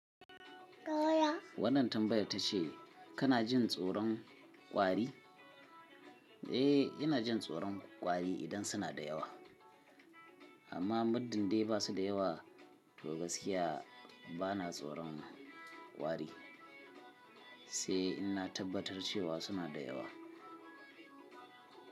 Wannan tambaya ta ce kana jin tsoron kwari? Eh, ina jin tsoron kwari idan suna da yawa, amma muddin dai ba su da yawa to gaskiya bana tsoron kwari, sai in na tabbatar cewa suna da yawa.